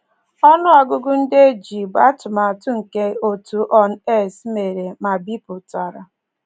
Ọnụ ọgụgụ ndị e ji bụ atụmatụ nke òtù UNAIDS mere ma bipụtara.